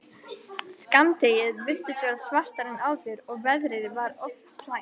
Skammdegið virtist svartara en áður og veðrið var oft slæmt.